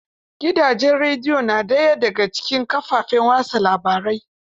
Gidajen rediyo na daya da cikin kafafen watsa labarai